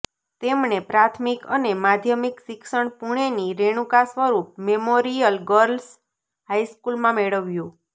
તેમણે પ્રાથમિક અને માધ્યમિક શિક્ષણ પુણેની રેણુકા સ્વરૂપ મેમોરિયલ ગર્લ્સ હાઈસ્કૂલમાં મેળવ્યું